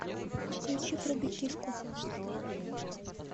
включи прыгай киску